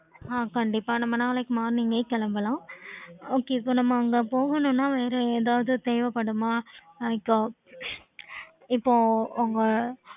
okay